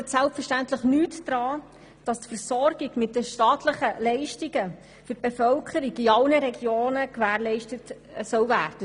Das ändert selbstverständlich nichts daran, dass die Versorgung mit staatlichen Leistungen für die Bevölkerung in allen Regionen gewährleistet sein soll.